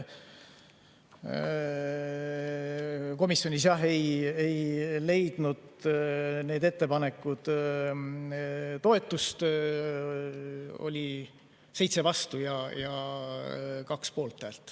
Komisjonis ei leidnud need ettepanekud toetust, oli 7 vastu- ja 2 poolthäält.